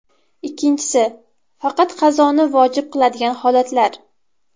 Ikkinchisi – faqat qazoni vojib qiladigan holatlar.